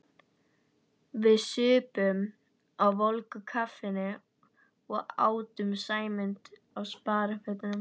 Við supum á volgu kaffinu og átum Sæmund á sparifötunum.